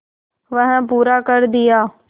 वह पूरा कर दिया